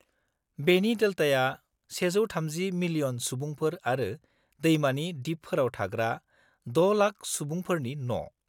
-बेनि डेल्टाया 130 मिलियन सुबुंफोर आरो दैमानि दिपफोराव थाग्रा 6,00,000 सुबुंफोरनि न '।